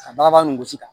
Ka bagabaga ni gosi